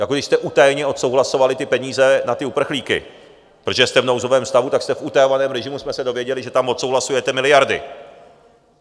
Jako když jste utajeně odsouhlasovali ty peníze na ty uprchlíky, protože jste v nouzovém stavu, tak jste v utajovaném režimu, jsme se dozvěděli, že tam odsouhlasujete miliardy.